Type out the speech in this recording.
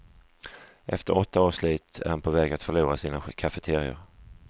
Efter åtta års slit är han på väg att förlora sina cafeterior.